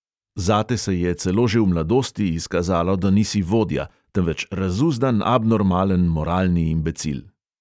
Zate se je, celo že v mladosti izkazalo, da nisi vodja, temveč razuzdan, abnormalen moralni imbecil.